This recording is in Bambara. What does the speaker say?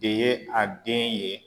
De ye a den ye